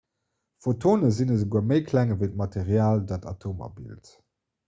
photone sinn esouguer méi kleng ewéi d'material dat atomer bilt